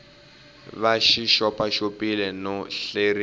va xi xopaxopiwile no hleriwa